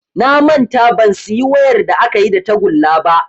Na manta ban siyi wayar da akayi da tagulla ba